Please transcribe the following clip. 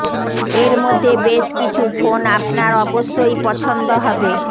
এর মধ্যে বেশ কিছু ফোন আপনার অবশ্যই পছন্দ হবে